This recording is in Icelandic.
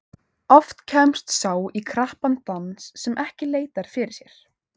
Oft kemst sá í krappan dans sem ekki leitar fyrir sér.